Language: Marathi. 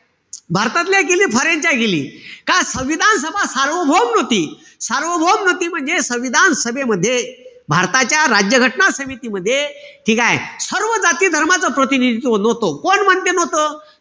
भारतातल्या केली, foreign च्या केली. का संविधान सभा सार्वभौम नव्हती. सार्वभौम नव्हती म्हणजे भारताच्या राज्य घटना समितीमध्ये ठीकेय? सर्व जाती-धर्माचं प्रतिनिधित्व नव्हतं. कोण म्हणजे नव्हतं?